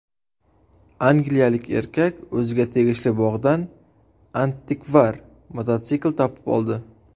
Angliyalik erkak o‘ziga tegishli bog‘dan antikvar mototsikl topib oldi.